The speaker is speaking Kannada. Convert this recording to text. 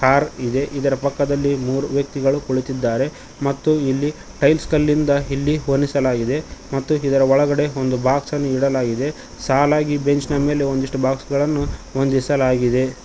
ಕಾರ್ ಇದೆ ಇದರ ಪಕ್ಕದಲ್ಲಿ ಮೂರು ವ್ಯಕ್ತಿಗಳು ಕುಳಿತಿದ್ದಾರೆ ಮತ್ತು ಇಲ್ಲಿ ಟೈಲ್ಸ್ ಕಲ್ಲಿಂದ ಇಲ್ಲಿ ಹೋಲಿಸಲಾಗಿದೆ ಮತ್ತು ಇದರ ಒಳಗಡೆ ಒಂದು ಬಾಕ್ಸ್ ಅನ್ನು ನೀಡಲಾಗಿದೆ ಸಾಲಾಗಿ ಬೆಂಚ್ ನ ಮೇಲೆ ಒಂದಿಷ್ಟು ಬಾಕ್ಸ್ ಗಳನ್ನು ಹೊಂದಿಸಲಾಗಿದೆ.